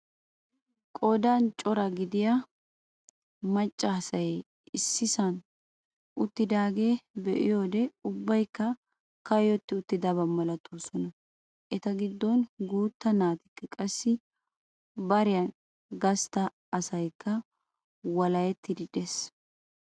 Qoodan daro giidida macca asay issisan uttidageeta be'iyoode ubbaykka kayotti uttidaba malatoosona. eta giddon guuta naatikka qassi bariyaan gastta asaykka walahettaagee de'ees.